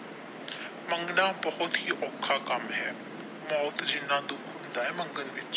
ਮੰਗਣ ਬਹੁਤ ਹੀ ਔਖਾ ਕੰਮ ਹੈ ਮੌਤ ਜਿੰਨਾ ਦੁਖ ਹੁੰਦਾ ਹੈ ਮੰਗਣ ਵਿੱਚ।